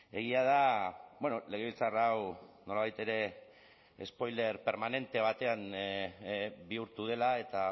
egia da legebiltzar hau nolabait ere spoiler permanente batean bihurtu dela eta